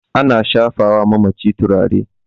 ana shafawa mamaci turare